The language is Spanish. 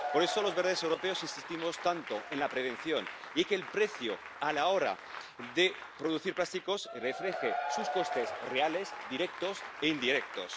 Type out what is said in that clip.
Por eso los Verdes europeos insistimos tanto en la prevención y en que el precio a la hora de producir plásticos refleje sus costes reales directos e indirectos.